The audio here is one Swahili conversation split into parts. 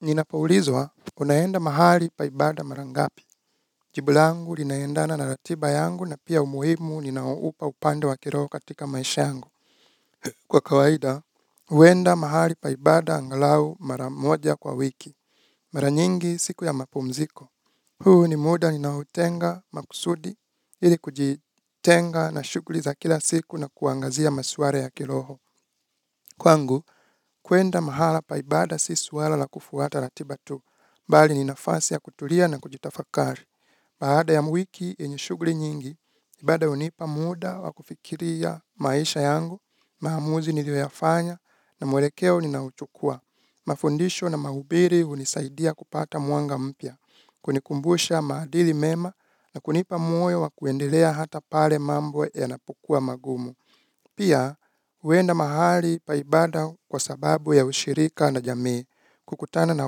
Ninapoulizwa, unaenda mahali pa ibada marangapi. Jibulangu linaendana na ratiba yangu na pia umuhimu ninaoupa upande wa kiroho katika maisha yangu. Kwa kawaida, uwenda mahali paibada angalau maramoja kwa wiki. Maranyingi siku ya mapumziko. Huu ni muda ninautenga makusudi ili kujitenga na shughuli za kila siku na kuangazia maswara ya kiroho. Kwangu, kwenda mahala pa ibada si swala la kufuata ratiba tu, bali ni nafasi ya kutulia na kujitafakari. Baada ya wiki yenye shughuli nyingi, ibada unipa muda wa kufikiria maisha yangu, maamuzi nilio yafanya na mwelekeo ninaouchukua. Mafundisho na mahubiri unisaidia kupata mwanga mpya, kunikumbusha maadili mema na kunipa moyo wa kuendelea hata pale mambo yanapokua magumu. Pia, huenda mahali paibada kwa sababu ya ushirika na jamii, kukutana na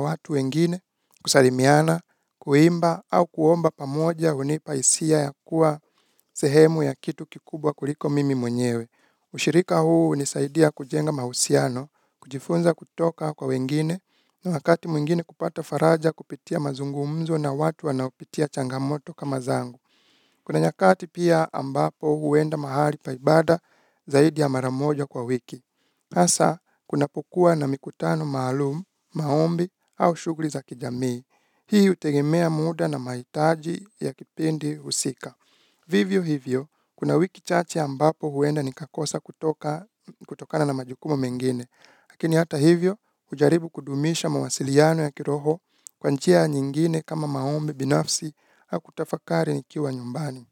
watu wengine, kusalimiana, kuimba au kuomba pamoja hunipa isia ya kuwa sehemu ya kitu kikubwa kuliko mimi mwenyewe. Ushirika huu hunisaidia kujenga mahusiano, kujifunza kutoka kwa wengine, na wakati mwingine kupata faraja kupitia mazungumzo na watu wanaopitia changamoto kama zangu. Kuna nyakati pia ambapo huenda mahali paibada zaidi ya maramoja kwa wiki. Hasa, kunapokua na mikutano maalumu, maombi au shughuli za kijamii. Hii hutegemea muda na maitaji ya kipindi husika. Vivyo hivyo, kuna wiki chache ambapo huenda ni kakosa kutokana na majukumu mengine. Lakini hata hivyo ujaribu kudumisha mawasiliano ya kiroho kwa njia nyingine kama maombi binafsi kutafakari nikiwa nyumbani.